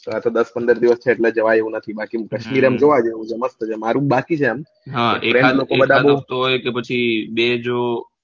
આતો દસ પંદર દસ દિવસ થયા એટલે જવાય તેમ નથી બાકી સીરમ જોવા જેવું છે મસ્ત છે મારું બાકી છે એમ